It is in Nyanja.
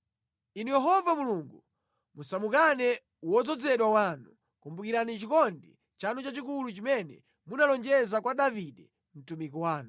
Inu Yehova Mulungu musamukane wodzozedwa wanu. Kumbukirani chikondi chanu chachikulu chimene munalonjeza kwa Davide mtumiki wanu.”